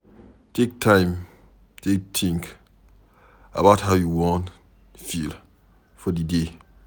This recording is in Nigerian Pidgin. Take time take think about how you wan feel for di day